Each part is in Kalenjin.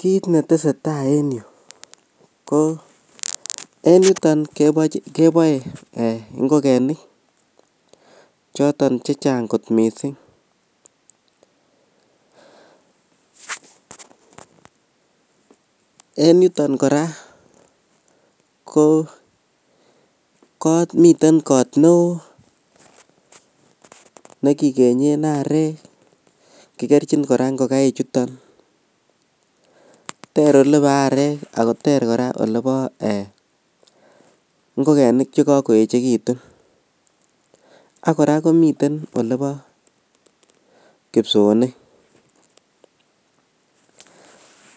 kiit netesetai en yuu ko en yuton keboe eeh ngogenik choton chechang kot mising, en yuton kora ko komiten koot neoo nekigeyeen areek kigerchin kora ingoik chuton, teer elebo areek ago teer kora elebo eeh ngogenik chegagoechegitun ak kora komiten elebo kipsoonik,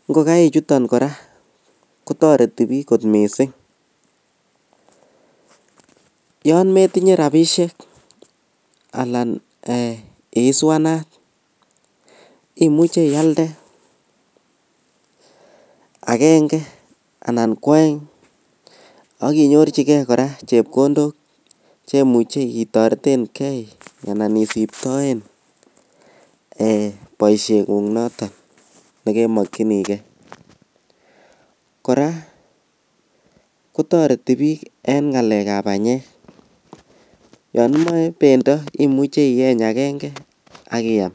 ngogaik chuton kora kotoreti biik kot mising yoon metinye rabishek anan eeh isuanaat imuche iyalde agenge anan kwoeng ak inyorchigee koraa chepkondook chemuche itoretengee anan isiptoen boishengung noton negemokyinigee, koraa kotoreti biik en ngalek ab banyeek yon imoe bendo imuche iyeeny agenge ak iyaam.